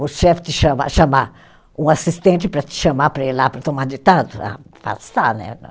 O chefe te chamar, chamar um assistente para te chamar para ir lá para tomar ditado, né